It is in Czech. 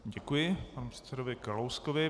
Děkuji panu předsedovi Kalouskovi.